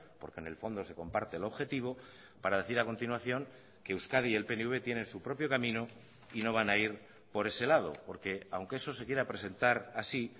porque en el fondo se comparte el objetivo para decir a continuación que euskadi y el pnv tienen su propio camino y no van a ir por ese lado porque aunque eso se quiera presentar así